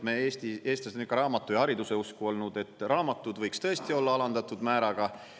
Me eestlased on ikka raamatu ja hariduse usku olnud, et raamatud võiks tõesti olla alandatud määraga.